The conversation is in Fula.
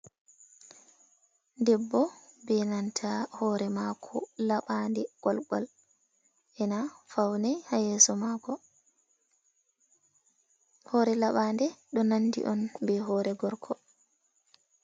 Debbo be nanta hoore maako laɓaade golgol, ena faune ha yeeso maako. Hoore laɓaande ɗo nandi on be hoore gorko.